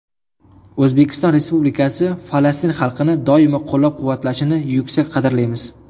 O‘zbekiston Respublikasi Falastin xalqini doimo qo‘llab-quvvatlashini yuksak qadrlaymiz.